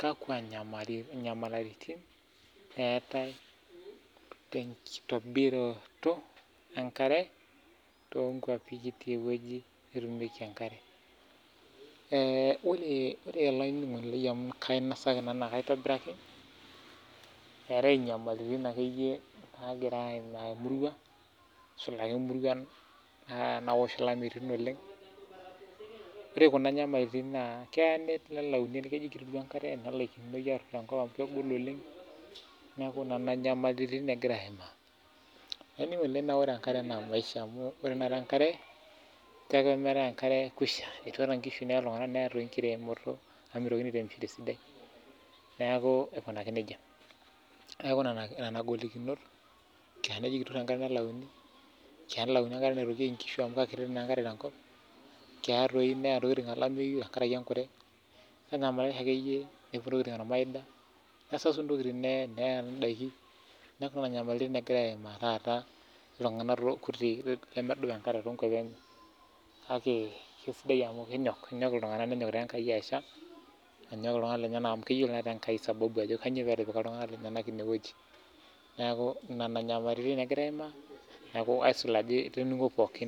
kakwa inyamaliritin eatae te nkitobiraroto enkare too nkuapi nekiti ewueji nitumieki enkare, ore olainining'oni lai amu kainosaki nai naa keitobiraki, eatae inyamaliritin ake iyie naigira aimaa emurua aisul naa imuruan naawosh ilameitin oleng, ore kuna inyamaliritin naa keya nelauni enkare te nkata naodo oleng naaku nena inyamaliritin, naaku ore oleng enkare naa emaisha amuu ore taata enkare tenemieta enkare naaku kuisha, etuata enkishu neaya iltungana, neya enkiremore naa meitoki aaremisho sidai, neaku aikunaki neja, naaku nena ingolikinot naa keya enkare nelauni, tenelauni enkare naitookieki enkishu amu kekiti naa enkare te nkop, keyaa doi neya ntokitin olameiyu ake iyie, kesasu ntokitin neya indaki naaku nena inyamaliritin naimaa taata iltungana kutii lemedol kake kesidai amu kenyok iltunganak nenyokita enkai asha anyok ltungana lenyena, eyiolo taa ngai sababu ajo kanyio pee etu esha, naaku nena taa inyamaliritin nagirai aimaa naaku aisul ajo itoningua pooki.